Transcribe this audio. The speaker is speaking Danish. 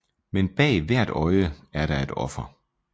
Men bag hvert øje er der et offer